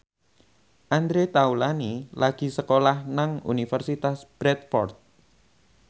Andre Taulany lagi sekolah nang Universitas Bradford